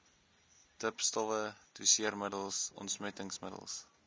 dipstowwe doseermiddels ontsmettingsmiddels